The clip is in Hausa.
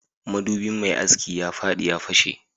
madubin mai aski ya fadi ya fashe